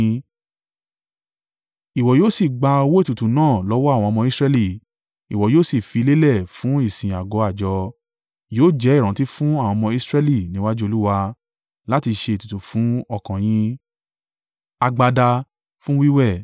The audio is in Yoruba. Ìwọ yóò sì gba owó ètùtù náà lọ́wọ́ àwọn ọmọ Israẹli, ìwọ yóò sì fi lélẹ̀ fún ìsìn àgọ́ àjọ. Yóò jẹ́ ìrántí fún àwọn ọmọ Israẹli níwájú Olúwa, láti ṣe ètùtù fún ọkàn yín.”